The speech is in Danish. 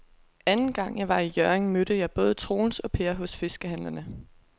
Anden gang jeg var i Hjørring, mødte jeg både Troels og Per hos fiskehandlerne.